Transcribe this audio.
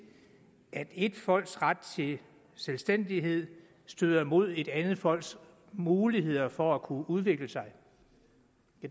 at ét folks ret til selvstændighed støder mod et andet folks muligheder for at kunne udvikle sig